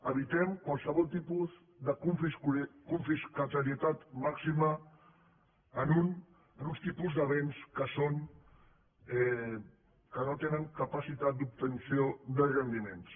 evitem qualsevol tipus de confiscatorietat màxima en uns tipus de béns que no tenen capacitat d’obtenció de rendiments